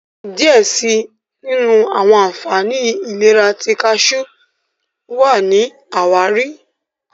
diẹ síi àwọn ànfàní ìlera ti kajú wá ní àwáàrí.